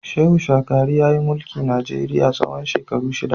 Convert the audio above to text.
Shehu shagari yayi mulki Najeriya na tsawon shekaru shida.